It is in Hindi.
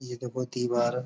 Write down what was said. ये तो बहुत ही बार --